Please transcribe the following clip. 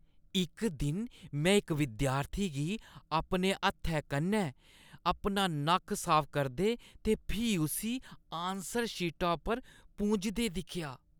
इक दिन में इक विद्यार्थी गी अपने हत्थै कन्नै अपन नक्क साफ करदे ते फ्ही उस्सी आनसर शीटा पर पूंझदे दिक्खेआ।